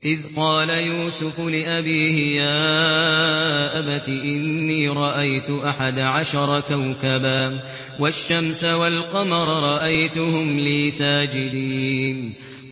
إِذْ قَالَ يُوسُفُ لِأَبِيهِ يَا أَبَتِ إِنِّي رَأَيْتُ أَحَدَ عَشَرَ كَوْكَبًا وَالشَّمْسَ وَالْقَمَرَ رَأَيْتُهُمْ لِي سَاجِدِينَ